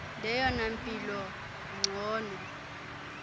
leyona mpilo ingcono